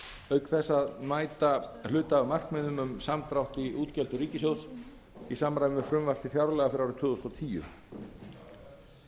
auk þess að mæta hluta af markmiðum um samdrátt í útgjöldum ríkissjóðs í samræmi við frumvarp til fjárlaga fyrir árið tvö þúsund og tíu atvinnuleysi meðal ungs fólks virðulegi forseti